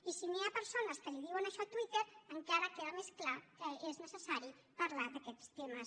i si hi ha persones que li diuen això a twitter encara queda més clar que és necessari parlar d’aquests temes